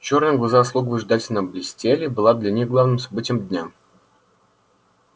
чёрные глаза слуг выжидательно блестели была для них главным событием дня